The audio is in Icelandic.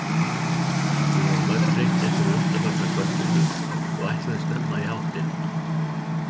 Við vorum öll þreytt eftir undanfarna kvöldvinnu og ætluðum snemma í háttinn.